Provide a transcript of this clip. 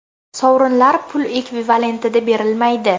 Sovrinlar pul ekvivalentida berilmaydi.